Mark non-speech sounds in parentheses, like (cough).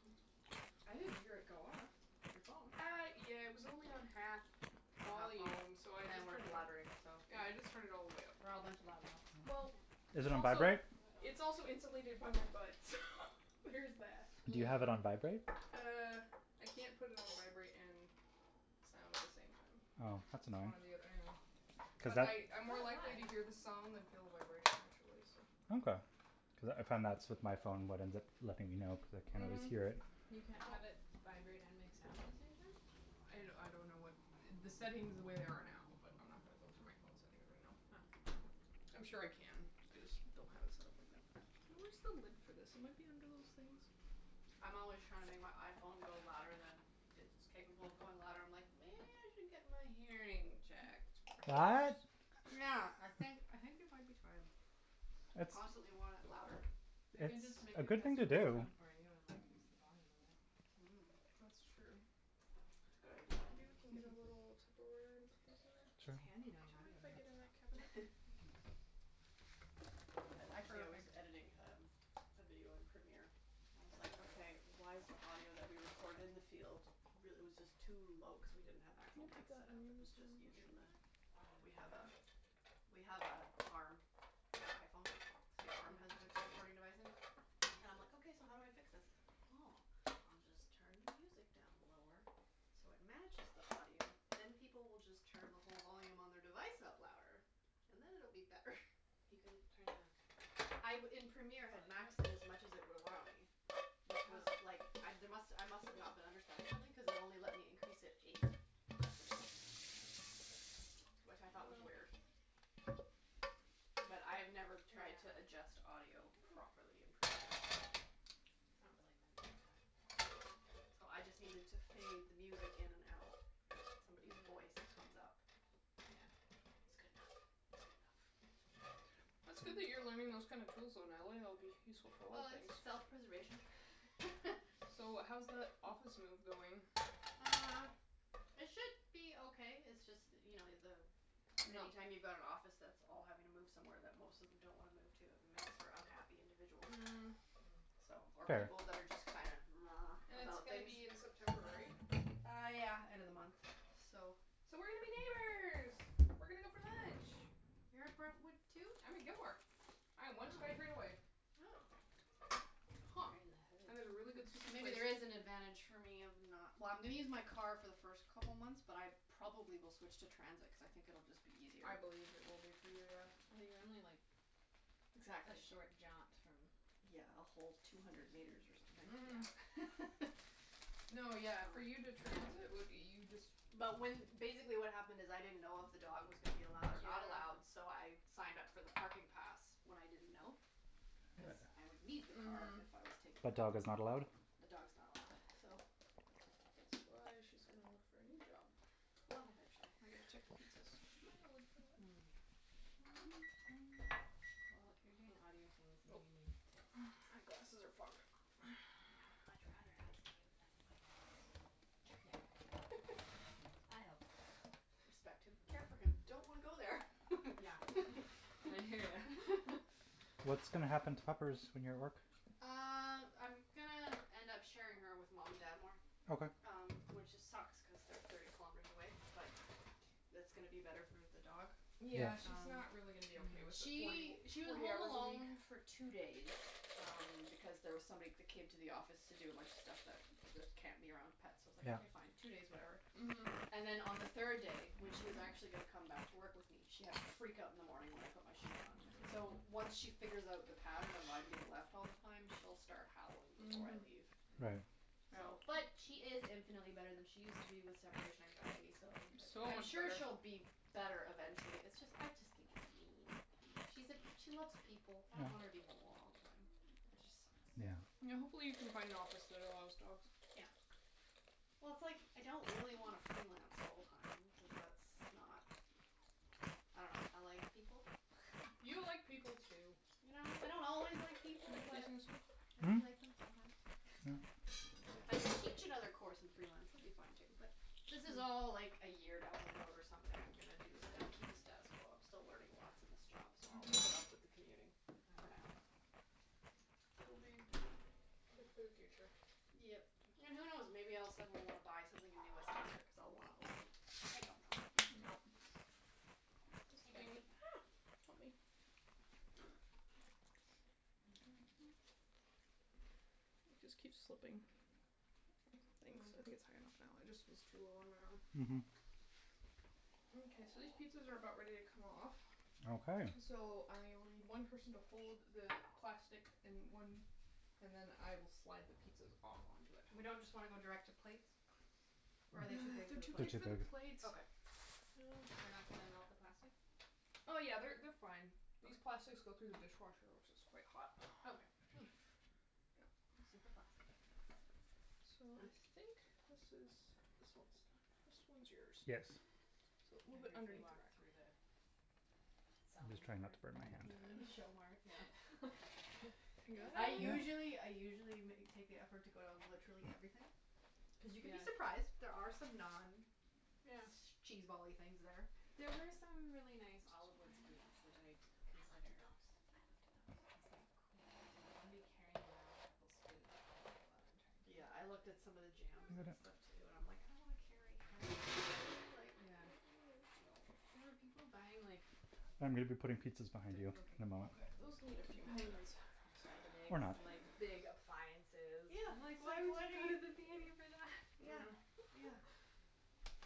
(inaudible) I didn't hear it go off, your phone. Uh, yeah, it was only on half Have half vol? volume, so I And just we're turned it up. blabbering, so Yeah, I just turned it all the way up. We're all a bunch of loud mouths. Yep. Well Is It's it on also vibrate? It's also insulated by my butt, so there is that. Do you have it on vibrate? Mm. Uh, I can't put it on vibrate and sound at the same time. Oh, that's It's one annoying. or the othe- I know. Cuz But that I, I'm more likely to hear the sound than feel the vibration, actually, so Okay. Cuz I found that's with my phone what ends up letting me know because I can't always Mhm. hear it. You can't Well have it vibrate and make sound at the same time? I d- I don't know what, (noise) the settings the way they are now, but I'm not gonna go through my phone settings right now. Oh. I'm sure I can, I just don't have it set up like that. Where's the lid for this? It might be under those things. I'm always trying to make my iPhone go louder than it's capable of going loud. I'm like, "Maybe I should get my hearing checked, What? perhaps." Yeah. I think I (laughs) think it might be time. I It's constantly want it louder. I can It's just make a a good test thing to and ring do. tone for you and like increase the volume of it. (noise) That's Mm. true. (noise) That's a Maybe we can get good a little idea. Tupperware (laughs) (noise) (inaudible) Sure. It's handy Do you knowing mind if I get in that cabinet? Thank you. (inaudible) I, actually I was Perfect. editing um a video in Premiere and I was like, "Okay, why is the audio that we recorded in the field real- " it was just too low cuz we didn't have Can actual you put mikes the set up, it onions was just and using mushroom the in there? We have a, we have a arm for iPhone, so the arm has the recording device in it and I'm like, "Okay, so how do I fix this?" "Oh, I'll just turn the music down lower so it matches the audio, then people will just turn the whole volume on their device up louder and then it'll be better." (laughs) You can turn the I b- in Premiere, I had maxed it as much as it would allow me, which was, like, I d- must, I must have not been understanding something cuz it only let me increase it Wow. eight decibels, which I thought was weird. Well. (noise) But I've never tried to adjust audio Yeah. (noise) properly in Premiere, so It's not really meant for that. No, so I just needed to fade the music in and out and somebody's Mm. voice comes up. Yeah. It's good enough, it's good enough. It's good that you're learning those kind of tools, though, Natalie. It'll be useful for a lot of Well, it's things. self-preservation. (laughs) So, how's that office move going? Uh, it should be okay. It's just that you know, the, any No. time you've got an office that's all having to move somewhere that most of them don't wanna move to, it makes for unhappy individuals. Mm So, or Fair. people that are just kind And of (noise) it's about gonna things. be in September, right? Uh, yeah, end of the month, so So we're gonna be neighbors! We're gonna go for lunch. You're at Brentwood, too? I'm at Gilmore. I am one SkyTrain away. Oh. Huh. And there's a really good So sushi maybe place. there is an advantage for me of not Well, I'm gonna use my car for the first couple months, but I probably will switch to transit cuz I think it'll just be I easier. believe it will be for you, yeah. Well, you're only, like, a Exactly. short jaunt from Yeah, a whole two hundred meters or something. Mhm. (laughs) No, yeah, for you to transit, what, you just But when, basically what happened is, I didn't know if the dog was gonna be allowed or not Yeah. allowed, so I signed up for the parking pass when I didn't know, cuz I would need the car Mhm. if I was taking But the dog. dog is not allowed? The dog's not allowed, so That's why she's gonna look for a new job. Well, eventually. I gotta check the pizzas. Did you find the lid for that? (noise) Well, if you're doing audio things and Nope. you need tips, (noise) My just glasses are fogged up. (noise) I would much rather ask you than my ex. Yeah. (laughs) I help. Respect him, care for him, don't want to go there. Yeah. And I hear ya. (laughs) (laughs) What's gonna happen to Puppers when you're at work? Uh, I'm gonna end up sharing her with mom and dad more. Okay. Um, which it sucks cuz they're thirty kilometers away, but that's gonna be better for the dog. Yeah. Yeah, she's Um, not really gonna be okay with the forty she, w- she was forty home hours a week. alone for two days um because there was somebody that came to the office to do a bunch of stuff that that can't be around pets, so I was like, Yeah. "Okay, fine, two days, whatever." Mhm. And then on the third day, when she was actually gonna come back to work with me, she had a freakout in the morning when I put my shoes on. So, once she figures out the pattern of "I'm being left all the time", she'll start howling before I Mhm. (noise) leave. Right. So, Yeah. but she is infinitely better than she used to be with separation anxiety, so It's so I'm much sure better. she'll be better eventually. It's just, I just think it's mean. She's a, she loves people. (noise) I don't want her Yeah. to be home alone all the time. That just sucks. (noise) Yeah. Yeah, hopefully you can find an office that allows dogs. Yeah. Well, it's, like, I don't really wanna freelance full time cuz that's not, I dunno, I like people. (noise) (laughs) You like people, too. You know? I don't always like Can you people, put these but in the sink? (noise) I do Hmm? like them sometimes. (noise) Yeah. But if I could teach another course and freelance, that would be fine, too, but this is all like a year down the road or something I'm gonna do the sta- keep the status quo. I'm still learning lots in this job, so I'll Mhm. put up with the commuting for now. It'll be good for the future. Yep. And who knows? Maybe I'll suddenly wanna buy something in New Westminster because I'll wanna own. I don't know. (noise) Yep. (noise) This I don't thing know. (noise) Help me. (noise) (noise) (noise) (noise) It just keeps slipping. (noise) Thanks, I think it's high enough now. It just was too low on my arm. Mhm. Mkay, so these pizzas are about ready to come off. Okay. So I will need one person to hold the plastic and one, and then I will slide the pizzas off onto it. We don't just wanna go direct to plates? Or are they too big for They're the They're too big plates? too for the big. plates. Okay. Oh, crap. They're not gonna melt the plastic? Oh, yeah, they're they're fine. These plastics go through the dishwasher which is quite hot. (noise) Okay. Hm. Yep. Super (noise) plastic. So, I think this is, this one's done. This one's yours. Yes. So a little I bit briefly underneath the walked rack. through the I'm just selling trying not part to burn my in the hand. p I n know. (laughs) e. Show mart, yeah. (laughs) I (inaudible) usually, I usually ma- take the effort to go down to literally everything. Cuz you can be Yeah. surprised. There are some Yeah. non-cheesebally things there. There were some really nice olive wood spoons (inaudible) which I I looked at considered. those, I looked at those. I was Yeah. like, "Cool, but do I wanna be carrying around a couple of spoons all night while I'm trying to take Yeah, I looked at pictures some of the jams and (inaudible) stuff, too, and I'm like, "I don't wanna carry (inaudible) like, Yeah. (noise) no." There were people buying like I'm gonna be putting pizzas behind The, you in a okay moment. Okay, those need a few more Buying minutes. like Vitamix, Or not. like big appliances. Yeah, Like, it's why like would what are you go to the p n e for that? you Yeah, Mm. Yeah. yeah.